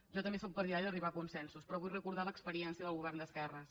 jo també sóc partidària d’arribar a consensos però vull recordar l’experiència del govern d’esquerres